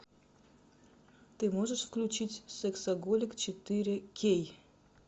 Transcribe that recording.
ты можешь включить сексоголик четыре кей